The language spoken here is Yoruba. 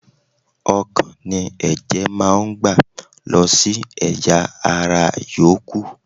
Ọkàn ni ẹ̀jẹ̀ máa ń gbà lọ sí ẹ̀yà - ara yòókù.